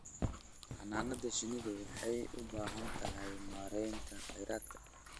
Xannaanada shinnidu waxay u baahan tahay maaraynta kheyraadka.